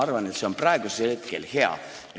Ma arvan, et see on praegu hea.